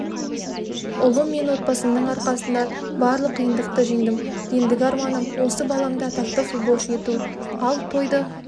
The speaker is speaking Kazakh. ұлым мен отбасымның арқасында барлық қиындықты жеңдім ендігі арманым осы баламды атақты футболшы ету ал тойды